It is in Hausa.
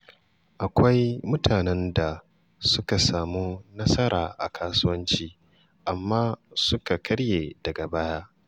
Akwai mutanen da suka samu nasara a kasuwanci amma suka karye daga baya.